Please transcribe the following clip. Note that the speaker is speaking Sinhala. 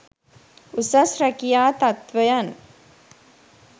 උසස් රැකියා තත්ත්වයන්